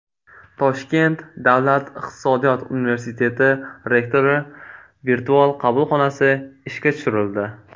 Toshkent davlat iqtisodiyot universiteti rektori virtual qabulxonasi ishga tushirildi.